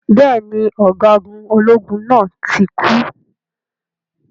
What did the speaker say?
Bẹ́ẹ̀ni, Ọ̀gágun ológun náà tí kú.